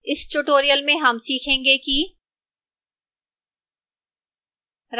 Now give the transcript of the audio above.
इस tutorial में हम सीखेंगे कि: